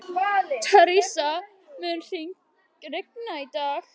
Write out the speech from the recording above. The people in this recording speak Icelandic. Theresa, mun rigna í dag?